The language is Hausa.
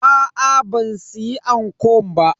Aa ban siya ankon ba.